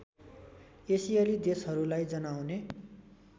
एसियाली देशहरूलाई जनाउने